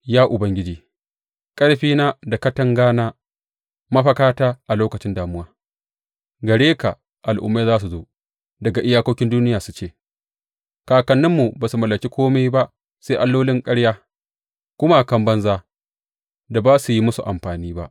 Ya Ubangiji, ƙarfina da katangana, mafakata a lokacin damuwa, gare ka al’ummai za su zo daga iyakokin duniya su ce, Kakanninmu ba su mallaki kome ba sai allolin ƙarya, gumakan banza da ba su yi musu amfani ba.